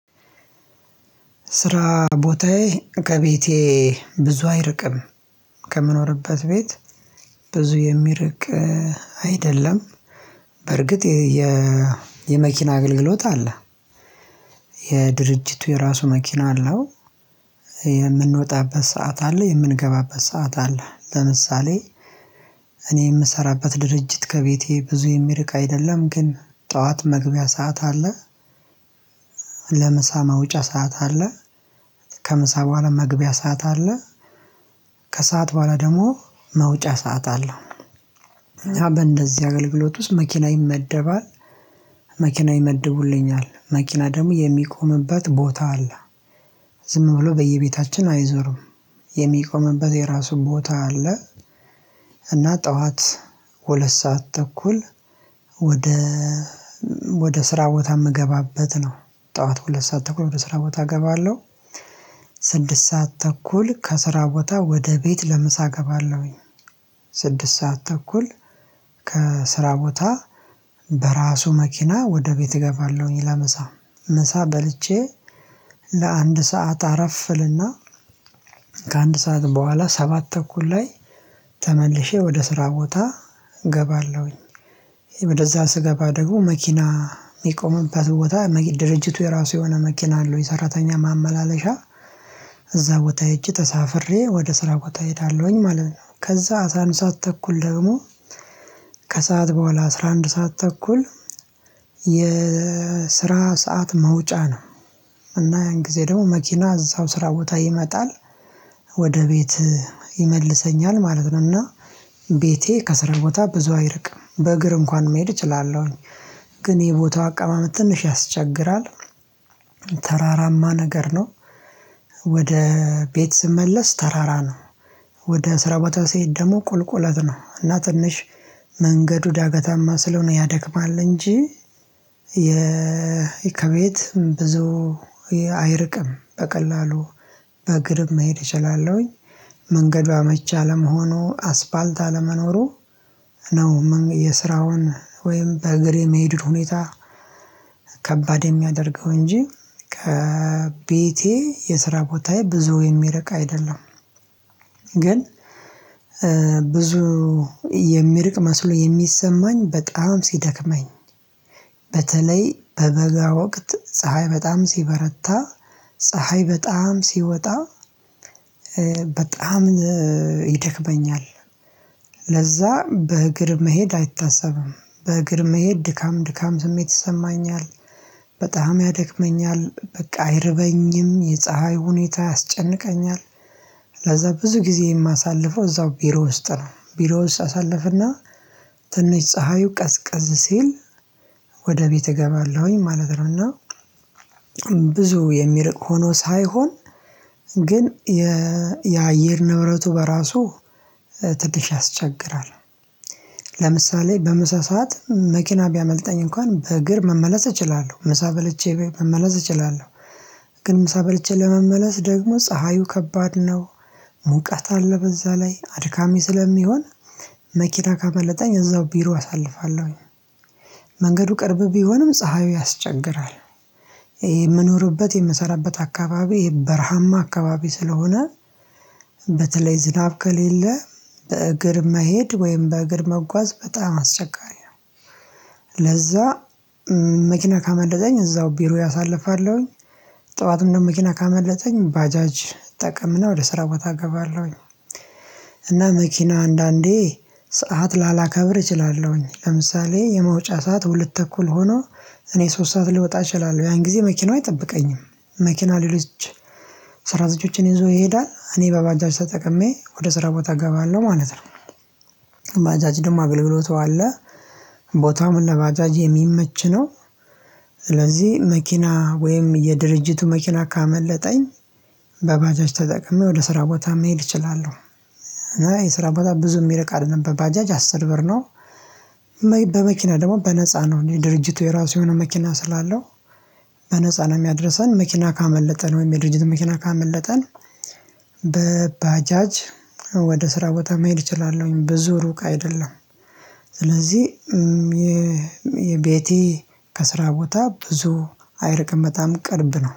ስራ ቦታዬ ከቤቴ ብዙ አይርቅም። ከምኖርበት ቤት ብዙ የሚርቅ አይደለም። በእርግጥ የመኪና አገልግሎት አለ። የድርጅቱ የራሱ መኪና አለው። የምንወጣበት ሰዓት አለ የምንገባበት ሰዓት አለ። ለምሳሌ እኔ የምሰራበት ድርጅት ከቤቴ ብዙ የሚርቅ አይደለም። ግን ጠዋት መግቢያ ሰዓት አለ። ለምሳ ማውጫ ሰዓት አለ። ከምሳ በኋላ መግቢያ ሰዓት አለ። ከሰአት በኋላ ደግሞ መውጫ ሰዓት አለው። እኛ በእንደዚህ አገልግሎት ውስጥ መኪና ይመደባል። መኪና ይመድቡልኛል መኪና ደግሞ የሚቆምበት ቦታ አለ። ዝም ብሎ በየቤታችን አይዞርም። የሚቆምበት የራሱን ቦታ አለ። እና ጠዋት ሁለት ሰዓት ተኩል ወደ ወደ ስራ ቦታ ምገባበት ነው። ጠዋት ሁለት ሰዓት ተኩል ወደ ስራ ቦታ እገባለሁ። ስድስት ሰዓት ተኩል ከስራ ቦታ ወደ ቤት ለምሳ እገባለሁኝ። ስድስት ሰዓት ተኩል ከስራ ቦታ በራሱ መኪና ወደ ቤት እገባለሁኝ። ለምሳ ምሳ በልቼ ለአንድ ሰዓት አረፍእልና ከአንድ ሰዓት በኋላ ሰባት ተኩል ላይ ተመልሼ ወደ ስራ ቦታ እገባለሁኝ። ወደእዛ ስገባ ደግሞ መኪና የሚቆምበት ቦታ ድርጅቱ የራሱ የሆነ መኪና አለው የሰራተኛ ማመላለሻ እዛ ቦታ ህጄ ተሳፍሬ ወደ ስራ ቦታ እሄዳለሁኝ ማለት ነው። ከዛ አስራ አንድ ሰዓት ተኩል ደግሞ ከሰአት በኋላ አስራ አንድ ሰዓት ተኩል የስራ ሰዓት መውጫ ነው። እና ያን ጊዜ ደግሞ መኪና እዛው ስራ ቦታ ይመጣል ወደ ቤት ይመልሰኛል ማለት ነው። እና ቤቴ ከስራ ቦታ ብዙ አይርቅም በእግር እንኳን መሄድ እችላለሁኝ። ግን የቦታው አቀማመጥ ትንሽ ያስቸግራል። ተራራማ ነገር ነው። ወደ ቤት ስመለስ ተራራ ነው። ወደ ስራ ቦታ ሲሄድ ደግሞ ቁልቁለት ነው እና ትንሽ መንገዱ ዳገታማ ስለሆነ ያደክማል። እንጂ የከቤት ብዙ አይርቅም በቀላሉ በእግርም መሄድ እችላለሁኝ። መንገዷ አመቼ አለመሆኑ አስፋልት አለመኖሩ ነው። የስራውን ወይም በእግር የመሄዱት ሁኔታ ከባድ የሚያደርገው እንጂ ከቤቴ የስራ ቦታዬ ብዙ የሚርቅ አይደለም። ግን ብዙ የሚርቅ መስሎ የሚሰማኝ በጣም ሲደክመኝ። በተለይ በበጋ ወቅት ፀሀይ በጣም ሲበረታ ፀሀይ በጣም ሲወጣ በጣም ይደክመኛል። ለዛ በእግር መሄድ አይታሰብም በእግር መሄድ ድካም ድካም ስሜት ይሰማኛል። በጣም ያደክመኛል በቃ አይርበኝም የፀሀይ ሁኔታ ያስጨንቀኛል። ለዛ ብዙ ጊዜ የማሳልፈው እዛው ቢሮ ውስጥ ነው። ቢሮ ውስጥ አሳልፍና ትንሽ ፀሀዩ ቀዝቀዝ ሲል ወደ ቤት እገባለሁኝ ማለት ነው። እና ብዙ የሚርቅ ሆኖ ሳይሆን ግን የየአየር ንብረቱ በራሱ ትንሽ ያስቸግራል። ለምሳሌ በምሳ ሰዓት መኪና ቢያመልጠኝ እንኳን በእግር መመለስ እችላለሁ ምሳ በልቼ መመለስ እችላለሁ። ግን ምሳ በልቼ ለመመለስ ደግሞ ፀሃዩ ከባድ ነው። ሙቀት አለ በዛ ላይ አድካሚ ስለሚሆን መኪና ካመለጠኝ እዛው ቢሮ አሳልፋለሁኝ። መንገዱ ቅርብ ቢሆንም ፀሀዩ ያስቸግራል። የምኖርበት የምሰራበት አካባቢ በረሃማ አካባቢ ስለሆነ በተለይ ዝናብ ከሌለ በእግር መሄድ ወይም በእግር መጓዝ በጣም አስቸጋሪ ነው። ለዛ መኪና ካመለጠኝ እዛው ቢሮ አሳልፋለሁኝ። ጠዋት እንደው መኪና ካመለጠኝ ባጃጅ እጠቀምና ወደ ስራው እገባለሁኝ። እና መኪና አንዳንዴ ሰዓት ላላከብር እችላለሁኝ ለምሳሌ የመውጫ ሰዓት ሁለት ተኩል ሆኖ እኔ ሶስት ሰዓት ልወጣ እችላለሁ ያን ጊዜ መኪናው አይጠብቀኝም። መኪና ሌሎች ስራተኞችን ይዞ ይሄዳል እኔ በባጃጅ ተጠቅሜ ወደ ስራ ቦታ እገባለሁ ማለት ነው። ባጃጅ ደግሞ አገልግሎት አለ። ቦታውም ለባጃጅ የሚመች ነው። ስለዚህ መኪና ወይም የድርጅቱ መኪና ካመለጠኝ በባጃጅ ተጠቅሜ ወደ ስራ ቦታ መሄድ እችላለሁ። እና የስራ ቦታ ብዙ የሚርቅ አይደለም በባጃጅ አስር ብር ነው። በመኪና ደግሞ በነፃ ነው የድርጅቱ የራሱ የሆነ መኪና ስላለው በነፃ ነው የሚያደርሰን መኪና ካመለጠን ወይም የድርጅት መኪና ካመለጠን በባጃጅ ወደ ስራ ቦታ መሄድ እችላለሁኝ ብዙ ሩቅ አይደለም። ስለዚህ የቤቴ ከስራ ቦታ ብዙ አይርቅም በጣም ቅርብ ነው